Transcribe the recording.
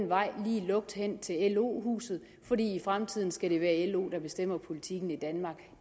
vej lige lukt hen til lo huset for i fremtiden skal det være lo der bestemmer politikken i danmark